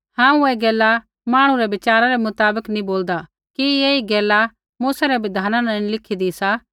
हांऊँ ऐ गैला मांहणु रै विचारा रै मुताबक नैंई बोलदा कि ऐही गैला मूसा रै बिधाना न नैंई लिखीदी सा